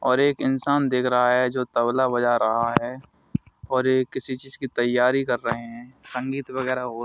और एक इंसान दिख रहा है जो तबला बजा रहा है और ये किसी चीज की तैयारी कर रहे हैं संगीत वगैरा हो--